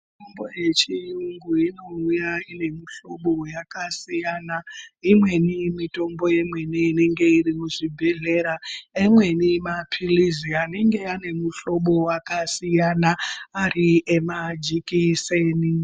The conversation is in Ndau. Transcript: Mitombo yechiyungu inouya ine muhlobo yakasiyana. Imweni mitombo imweni inenge iri muzvibhedhlera , imweni maphilizi anenge ane muhlobo wakasiyana, ari emajikiseni.